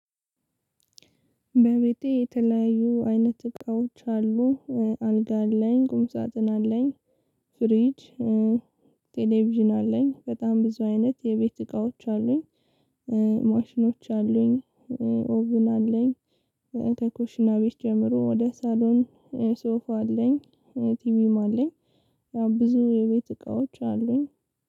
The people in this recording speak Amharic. በቤቴ የተለያዩ አይነት እቃዎች አሉ። አልጋ አለኝ ቁምሳጥን አለኝ። ፍሪጅ ቴሌቪዥን አለኝ። በጣም ብዙ አይነት የቤት እቃዎች አሉኝ። ማሽኖች አሉኝ። ኦቭን አለኝ። ከኩሽና ቤት ጀምሮ ወደ ሳሎን። ሶፋ አለኝ። ቲቪም አለኝ። ያው ብዙ የቤት እቃዎች አሉኝ።